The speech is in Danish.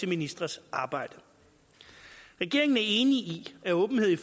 ministres arbejde regeringen er enig i at åbenhed i